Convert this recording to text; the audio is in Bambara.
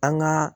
An ka